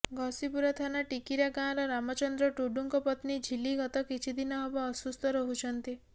ଘସିପୁରା ଥାନା ଟିକିରା ଗାଁର ରାମଚନ୍ଦ୍ର ଟୁଡୁଙ୍କ ପତ୍ନୀ ଝୀଲ୍ଲି ଗତ କିଛିଦିନ ହେବ ଅସୁସ୍ଥ ରହୁଛନ୍ତି